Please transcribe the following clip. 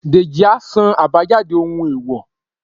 dejí a sán abájádé ohún eèwò